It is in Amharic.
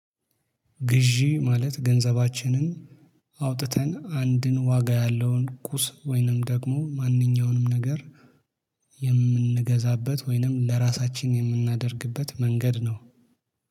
ግዢ ማለት ገንዘባችንን አውጥተን አንድን ዋጋ ያለውን ቁስ ወይንም ደግሞ ማንኛውንም ነገር የምንገዛበት ወይንም ለራሳችን የምናደርግበት መንገድ ነው